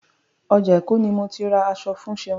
Ọjà Èkó ni mo ti ra aṣọ fún Ṣeun.